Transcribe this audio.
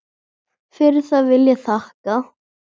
Fyrir það vil ég þakka.